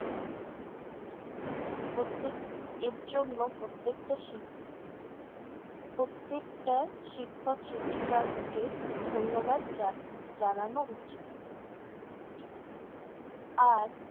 এর জন্য প্রত্যেকটা। শি~ প্রত্যেকটা শিক্ষক-শিক্ষিকাকে ধন্যবাদ যা~ জানানো উচিত। আর